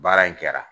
Baara in kɛra